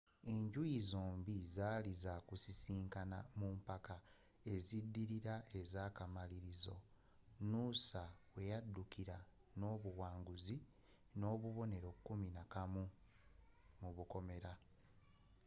enjuyi zombie zaali za kusisikana mu mpaka eziddirira ezaakamalirizo noosa weyaddukira n’obuwanguzi n’obubonero kuminakamu 11